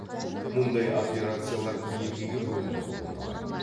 мұндай операциялар екіге бөлініп орындалады